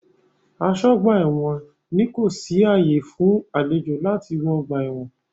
Aṣọ́-ọgbà-ẹ̀wọn ní kò sí ààyà fún àlejò láti wọ ọgbà-ẹ̀wọn.